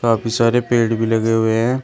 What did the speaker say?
काफी सारे पेड़ भी लगे हुए हैं।